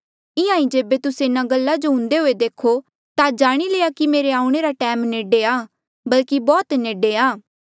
इंहां ईं जेबे तुस्से इन्हा गल्ला जो हुंदे देखो ता जाणी लया कि मेरे आऊणें रा टैम नेडे आ बल्कि बौह्त नेडे आ